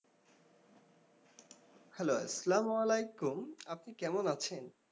Hello আসসালামু আলাইকুম। আপনি কেমন আছেন?